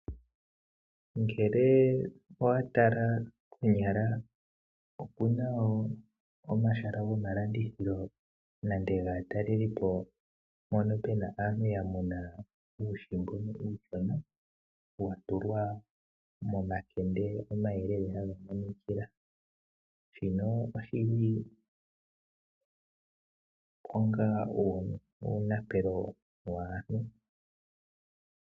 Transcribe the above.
Ngele owa tala konyala opuna wo omahala gomalandithilo nande gaatalelipo mpono pe na aantu ya muna uuhi mbono uushona, wa tulwa momakende omayelele ha ga monikila, shino oshili onga uunapelo waantu.